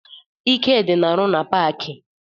Ikedị na-arụ na paakị